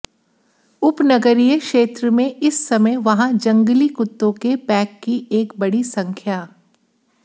उपनगरीय क्षेत्र में इस समय वहाँ जंगली कुत्तों के पैक की एक बड़ी संख्या